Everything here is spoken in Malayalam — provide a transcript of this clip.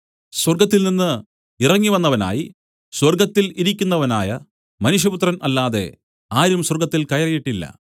സ്വർഗ്ഗത്തിൽനിന്ന് ഇറങ്ങിവന്നവനായി സ്വർഗ്ഗത്തിൽ ഇരിക്കുന്നവനായ മനുഷ്യപുത്രൻ അല്ലാതെ ആരും സ്വർഗ്ഗത്തിൽ കയറിയിട്ടില്ല